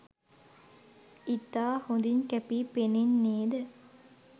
ඉතා හොඳීන් කැපී පෙනෙන්නේද